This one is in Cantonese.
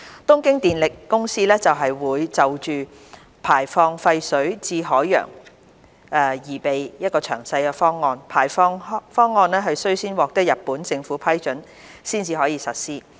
東京電力公司會就排放廢水至海洋擬備詳細方案，排放方案須先獲得日本政府批准，才可實施。